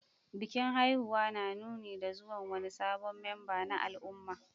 Bikin haihuwa na nuni da zuwan wani sabon memba na al'umma.